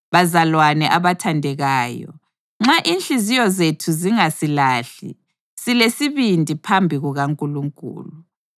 Bazalwane abathandekayo, nxa inhliziyo zethu zingasilahli, silesibindi phambi kukaNkulunkulu